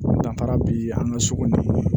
Danfara bi an ka sugu ni